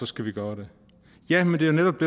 skal vi gøre det ja men det er netop